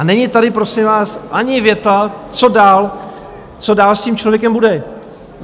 A není tady prosím vás ani věta, co dál, co dál s tím člověkem bude.